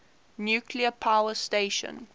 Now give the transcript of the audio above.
nuclear power station